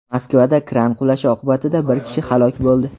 Moskvada kran qulashi oqibatida bir kishi halok bo‘ldi.